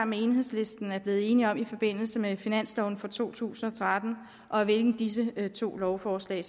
med enhedslisten er blevet enig om i forbindelse med finansloven for to tusind og tretten og af hvilken disse to lovforslag